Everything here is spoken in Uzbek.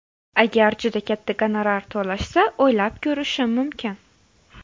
Agar juda katta gonorar to‘lashsa, o‘ylab ko‘rishim mumkin.